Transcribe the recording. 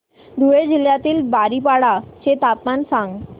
धुळे जिल्ह्यातील बारीपाडा चे तापमान सांग